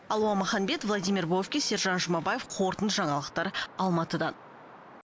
алуа маханбет владимир бовкис сержан жұмабаев қорытынды жаңалықтар алматыдан